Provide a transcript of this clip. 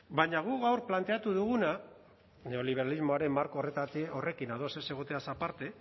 baina guk gaur planteatu duguna neoliberalismoaren marko horrekin ados ez egoteaz aparte